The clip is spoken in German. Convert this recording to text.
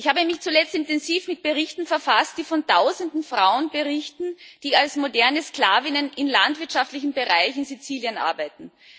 Ich habe mich zuletzt intensiv mit Berichten befasst, die von Tausenden Frauen berichten, die als moderne Sklavinnen in landwirtschaftlichen Bereichen Siziliens arbeiten.